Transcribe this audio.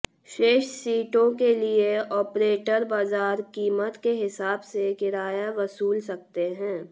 शेष सीटों के लिए ऑपरेटर बाजार कीमत के हिसाब से किराया वसूल सकते हैं